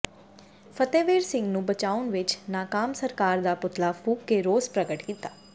ਫਤਿਹਵੀਰ ਸਿੰਘ ਨੂੰ ਬਚਾਉਣ ਵਿੱਚ ਨਾਕਾਮ ਸਰਕਾਰ ਦਾ ਪੂਤਲਾ ਫੂਕ ਕੇ ਰੋਸ ਪ੍ਰਗਟ ਕੀਤਾ